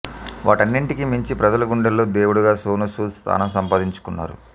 వాటన్నింటికీ మించి ప్రజల గుండెల్లో దేవుడిగా సోనూసూద్ స్థానం సంపాదించుకున్నారు